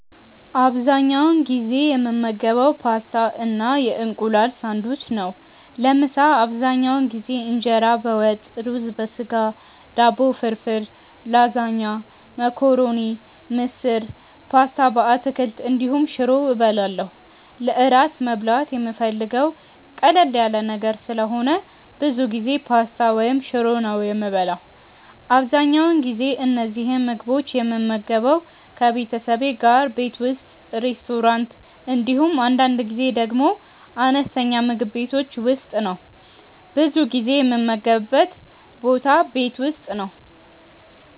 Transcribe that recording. አብዛኛውን ጊዜ የምመገበው ፓስታ እና የእንቁላል ሳንድዊች ነው። ለምሳ አብዛኛውን ጊዜ እንጀራ በወጥ፣ ሩዝ በስጋ፣ ዳቦ ፍርፍር፣ ላዛኛ፣ መኮረኒ፣ ምስር፣ ፓስታ በአትክልት እንዲሁም ሽሮ እበላለሁ። ለእራት መብላት የምፈልገው ቀለል ያለ ነገር ስለሆነ ብዙ ጊዜ ፓስታ ወይም ሽሮ ነው የምበላው። አብዛኛውን ጊዜ እነዚህን ምግቦች የምመገበው ከቤተሰቤ ጋር ቤት ውስጥ፣ ሬስቶራንት እንዲሁም አንዳንድ ጊዜ ደግሞ አነስተኛ ምግብ ቤቶች ውስጥ ነው። ብዙ ጊዜ የምመገብበት ቦታ ቤት ውስጥ ነው።